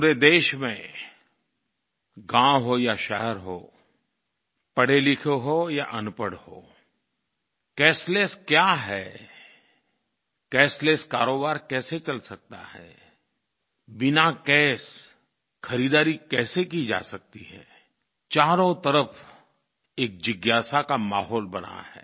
पूरे देश में गाँव हो या शहर हो पढ़े लिखे हो या अनपढ़ हो कैशलेस क्या है कैशलेस कारोबार कैसे चल सकता है बिना कैश खरीदारी कैसे की जा सकती है चारों तरफ़ एक जिज्ञासा का माहौल बना है